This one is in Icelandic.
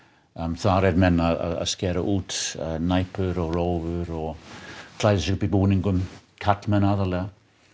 þar eru menn að skera út næpur og rófur og klæðast búningum karlmenn aðallega